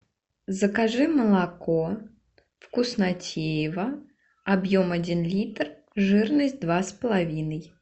закажи молоко вкуснотеево объем один литр жирность два с половиной